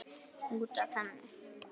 Út af henni!